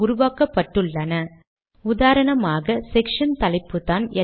இங்கிருந்து இரட்டை ஸ்லாஷ்களை நீக்கினால்